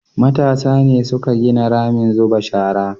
matasa ne suka gina ramin zuba shara